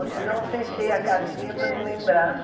Ou se não, eu fechei a caixinha para não lembrar.